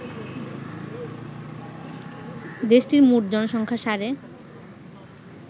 দেশটির মোট জনসংখ্যা সাড়ে